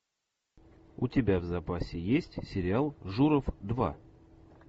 у тебя в запасе есть сериал журов два